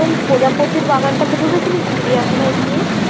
শোন প্রজাপতির বাগানটাতে ঢুকেছিলিস চিড়িয়াখানায় গিয়ে?